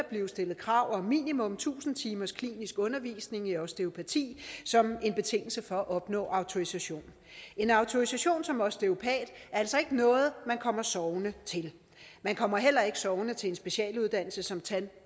blive stillet krav om minimum tusind timers klinisk undervisning i osteopati som en betingelse for at opnå autorisation en autorisation som osteopat er altså ikke noget man kommer sovende til man kommer heller ikke sovende til en specialuddannelse som tand